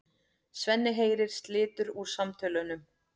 Svenni heyrir slitur úr samtölunum.